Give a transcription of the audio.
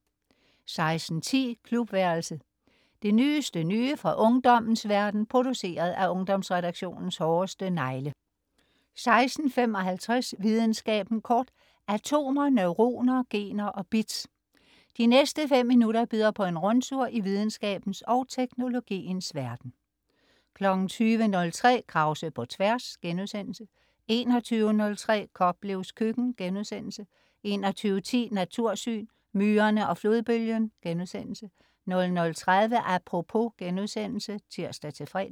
16.10 Klubværelset. Det nyeste nye fra ungdommens verden, produceret af Ungdomsredaktionens hårdeste negle 16.55 Videnskaben kort. Atomer, neuroner, gener og bits. De næste fem minutter byder på en rundtur i videnskabens og teknologiens verden 20.03 Krause på Tværs* 21.03 Koplevs Køkken* 21.10 Natursyn: Myrerne og flodbølgen* 00.30 Apropos* (tirs-fre)